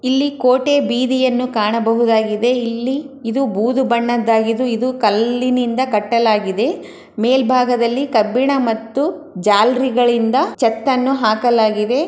ಇಲ್ಲಿ ಕೋಟೆ ಬೀದಿಯನ್ನು ಕಾಣಬಹುದಾಗಿದೆ ಇಲ್ಲಿ ಇದು ಬೂದು ಬಣ್ಣದ್ದಾಗಿದ್ದು ಇದು ಕಲ್ಲಿನಿಂದ ಕಟ್ಟಲಾಗಿದೆ ಮೇಲ್ಭಾಗದಲ್ಲಿ ಕಬ್ಬಿಣ ಮತ್ತು ಜಾಲ್ರಿಗಳಿಂದ ಚತ್ತನ್ನು ಹಾಕಲಾಗಿದೆ.